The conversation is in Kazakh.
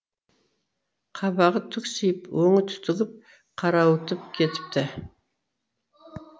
қабағы түксиіп өңі түтігіп қарауытып кетіпті